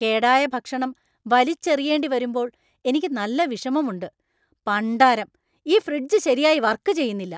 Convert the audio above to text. കേടായ ഭക്ഷണം വലിച്ചെറിയേണ്ടിവരുമ്പോൾ എനിക്ക് നല്ല വിഷമമുണ്ട് , പണ്ടാരം! ഈ ഫ്രിഡ്ജ് ശരിയായി വർക് ചെയുന്നില്ല !